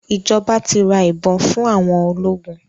Ìjọba ti ra ìbọn fún àwọn ológun.